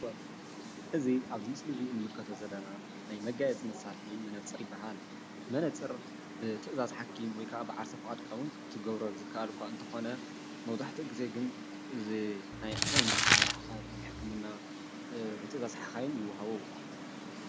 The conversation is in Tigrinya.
እዚ አብዚ ምስሊ ንምልከቶ ዘለና ናይ መጋየፂ መሳርሒ መነፀር ይበሃል። መነፀር ብትእዛዝ ሓኪም ወይ ብዓርሰ ብፍቃድካ እውን ክትገብሮ ዝኸአል እኳ እንተኾነ መብዛሕትኡ ግዘ ግን ንዓይኒ ናይ ርሕቀት ናይ ሕክምና ብትእዛዝ ሓኻይም ይወሃበ።